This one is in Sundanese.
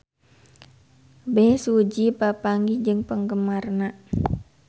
Bae Su Ji papanggih jeung penggemarna